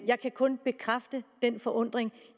jeg kan kun bekræfte den forundring